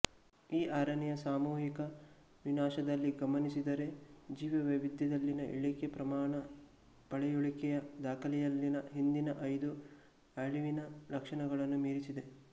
ಈ ಆರನೆಯ ಸಾಮೂಹಿಕ ವಿನಾಶದಲ್ಲಿ ಗಮನಿಸಿದರೆ ಜೀವವೈವಿಧ್ಯದಲ್ಲಿನ ಇಳಿಕೆ ಪ್ರಮಾಣ ಪಳೆಯುಳಿಕೆಯ ದಾಖಲೆಯಲ್ಲಿನ ಹಿಂದಿನ ಐದು ಅಳಿವಿನ ಲಕ್ಷಣಗಳನ್ನೂ ಮೀರಿಸಿದೆ